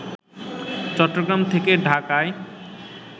চট্টগ্রাম থেকে ঢাকায়